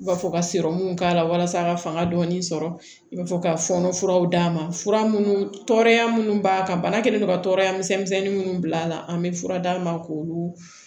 U b'a fɔ ka sɔrɔmu k'a la walasa ka fanga dɔɔni sɔrɔ i b'a fɔ ka fɔɔnɔ furaw d'a ma fura munnu tɔɔrɔya minnu b'a kan bana kɛlen don ka tɔɔrɔya misɛnnin minnu bila a la an bɛ fura d'a ma k'olu